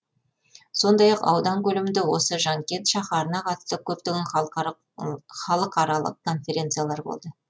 сондай ақ аудан көлемінде осы жанкент шаһарына қатысты көптеген халықаралық конференциялар болды